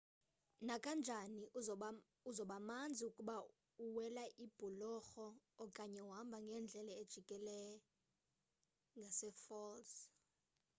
nakanjani uzobamanzi ukuba uwela ibhulorho okanye uhamba ngeendlela ezijikela ngasefalls